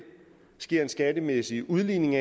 sker en skattemæssig udligning